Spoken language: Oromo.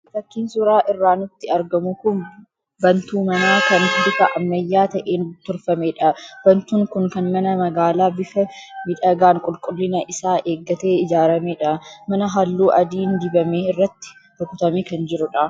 Fakiin suuraa irraa nutti argamu kun bantuu manaa kan bifa ammayyaa ta'een tolfamedha. Bantuun kun kan mana magaalaa bifa miidhagaan qulqullina isaa eeggatee ijaaramedha. Mana halluu adiin dibame irratti rukutamee kan jirudha.